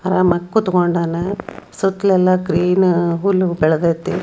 ಅಲ್ಲಿ ಒಂದು ಮಗು ಕೂತುಕೊಂಡನೇ ಸುತ್ಲೆ ಅಲ್ಲ ಗ್ರೀನ್ ಹುಲ್ಲು ಬೆಳೆದಂತೆ.